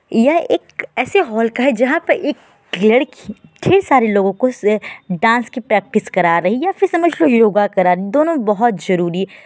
यह एक ऐसे हॉल का है जहां पर एक लड़की ढेर सारे लोगो को डास की प्रैक्टिस करा रही है या फिर समझ लो योगा करा रही है। दोनों बोहोत ज़रूरी है।